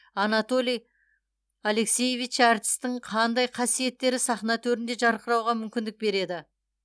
анатолий алексеевич әртістің қандай қасиеттері сахна төрінде жарқырауға мүмкіндік береді